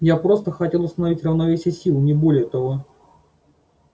я просто хотел установить равновесие сил не более того